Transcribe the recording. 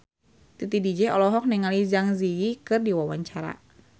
Titi DJ olohok ningali Zang Zi Yi keur diwawancara